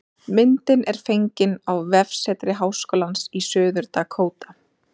Myndin er fengin á vefsetri Háskólans í Suður-Dakóta